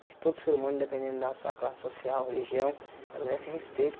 Acho que todo ser humano, dependendo da sua classe social, religião, ela merece respeito.